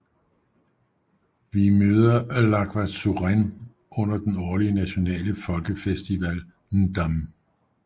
Vi møder Lhagvasuren under den årlige nationale folkefestival Ndam